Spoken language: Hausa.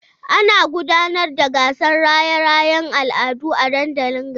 Ana gudanar da gasar raye-rayen al'adu a dandalin garin.